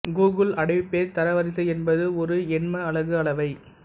Google அடைவு page தரவரிசை என்பது ஒரு எண்மஅலகு அளவை